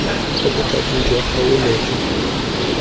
kwa bothating jwa kgaolo jo